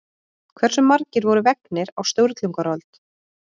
Hversu margir voru vegnir á Sturlungaöld?